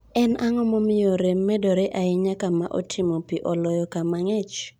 En ang'o omiyo rem medore ahinya kama otimo pii ,oloyo kama ng'ich.